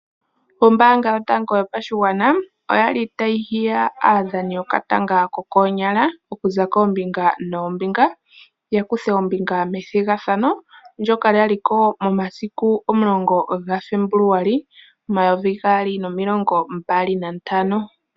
Ombaanga yotango yopashigwana, oya li tayi hiya aadhani yokatanga kokoonyala okuza koombinga noombinga, ya kuthe ombinga methigathano ndyoka lya li ko momasiku 10 gaFebuluali 2025.